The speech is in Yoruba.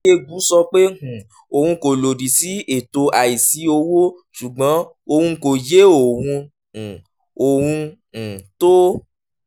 okengwu sọ pé um òun kò lòdì sí ètò àìsí owó ṣùgbọ́n òun kò yé ohun um ohun um tó